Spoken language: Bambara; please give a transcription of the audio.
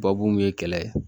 Babu mun ye kɛlɛ ye